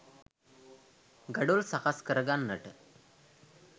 ගඩොල් සකස් කරගන්නට